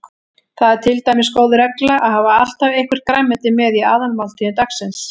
Það er til dæmis góð regla að hafa alltaf eitthvert grænmeti með í aðalmáltíðum dagsins.